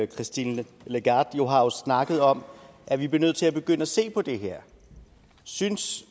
christine lagarde har jo snakket om at vi bliver nødt til at begynde at se på det her synes